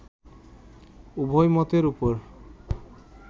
উভয় মতের উপর